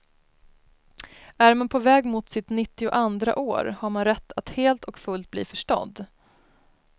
Är man på väg mot sitt nittioandra år, har man rätt att helt och fullt bli förstådd.